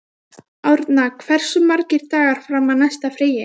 Vígmar, hvaða myndir eru í bíó á fimmtudaginn?